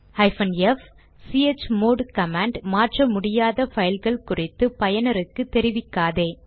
f160 chmod command மாற்ற முடியாத பைல்கள் குறித்து பயனருக்கு தெரிவிக்காதே